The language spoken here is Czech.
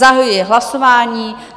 Zahajuji hlasování.